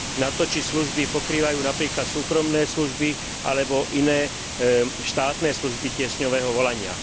na to, či služby pokrývajú napríklad súkromné služby alebo iné štátne služby tiesňového volania.